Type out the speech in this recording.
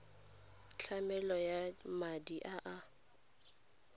tlamelo ya madi a a